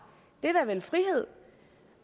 det er da vel frihed